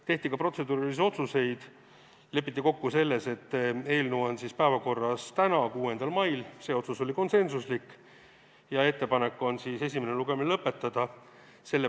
Tehti ka protseduurilised otsused: lepiti kokku selles, et eelnõu on päevakorras täna, 6. mail , ja ettepanek on esimene lugemine lõpetada .